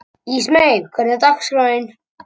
Ísmey, hvernig er dagskráin?